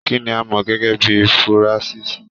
Kínní a mọ gẹgẹ bíi furasisi?